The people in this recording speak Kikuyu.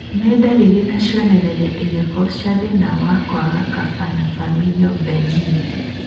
Nĩ ndariri na cionereria irĩkũ cia thĩna wa kwaga kopa, na familial benign?